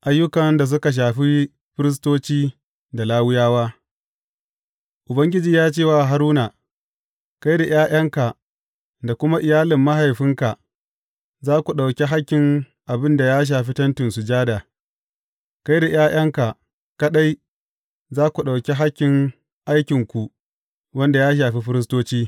Ayyukan da suka shafi firistoci da Lawiyawa Ubangiji ya ce wa Haruna, Kai da ’ya’yanka, da kuma iyalin mahaifinka za ku ɗauki hakkin abin da ya shafi Tentin Sujada, kai da ’ya’yanka kaɗai za ku ɗauki hakkin aikinku wanda ya shafi firistoci.